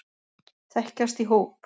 Þekkjast í hóp.